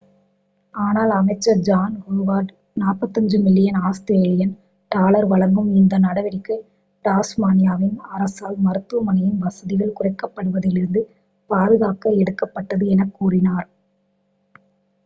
ஆனால் அமைச்சர் John Howard 45 million Australian dollar வழங்கும் இந்த நடவடிக்கை டாஸ்மானியாவின் அரசால் மருத்துவமனையின் வசதிகள் குறைக்கப்படுவதிலிருந்து பாதுகாக்க எடுக்கப்பட்டது என கூறினார்